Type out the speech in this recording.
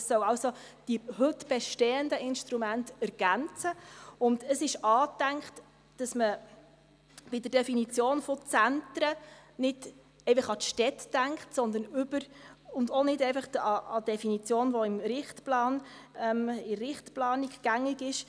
Es soll also die heute bestehenden Instrumente ergänzen, und es ist angedacht, dass man bei der Definition von Zentren nicht einfach an die Städte denkt und auch nicht einfach an die Definition, die in der Richtplanung gängig ist.